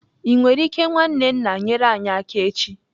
Ị nwere ike nwanne nna nyere anyị aka echi?